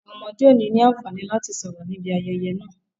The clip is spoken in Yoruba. Àwọn ọmọdé ò ní ní àǹfààní láti sọ̀rọ̀ ní ibi ayẹyẹ naa